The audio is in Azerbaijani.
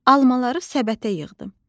Almaları səbətə yığdım.